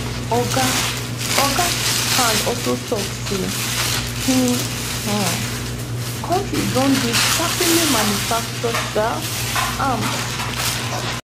oga oga also tok say im um kontri don dey sharply manufacture um arms